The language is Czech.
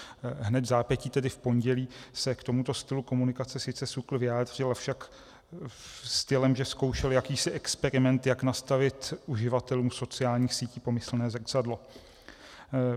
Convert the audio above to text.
Hned vzápětí, tedy v pondělí, se k tomuto stylu komunikace sice SÚKL vyjádřil, avšak stylem, že zkoušel jakýsi experiment, jak nastavit uživatelům sociálních sítí pomyslné zrcadlo.